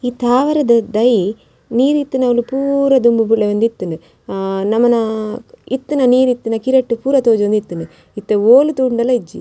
ಈ ತಾವರೆದ ದೈ ನೀರ್ ಇತ್ತಿನವುಲು ಪೂರ ದುಂಬು ಬೆಳೆಯೊಂದಿತ್ತುಂಡು ಅಹ್ ನಮನ ಇತ್ತಿನ ನೀರ್ ಇತ್ತಿನ ಕೆರೆಟ್ ಪೂರ ತೋಜೊಂದಿತ್ತುಂಡು ಇತ್ತೆ ಓಲು ತೂಂಡಲ ಇಜ್ಜಿ .